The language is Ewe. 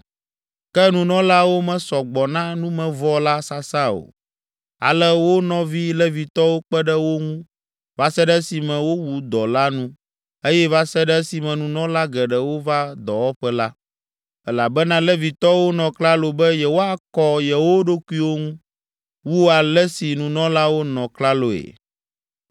Ke nunɔlawo mesɔ gbɔ na numevɔ la sasa o, ale wo nɔvi Levitɔwo kpe ɖe wo ŋu va se ɖe esime wowu dɔ la nu eye va se ɖe esime nunɔla geɖewo va dɔwɔƒe la; elabena Levitɔwo nɔ klalo be yewoakɔ yewo ɖokuiwo ŋu wu ale si nunɔlawo nɔ klaloe.